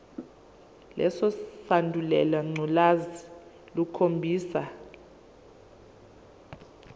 lesandulela ngculazi lukhombisa